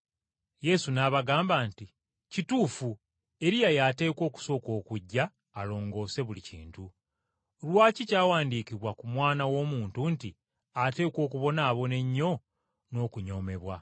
Yesu n’abagamba nti, “Weewaawo Eriya y’ateekwa okusooka okujja alongoose ebintu byonna. Lwaki kyawandiikibwa ku Mwana w’Omuntu nti ateekwa okubonaabona ennyo n’okunyoomebwa?